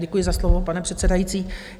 Děkuji za slovo, pane předsedající.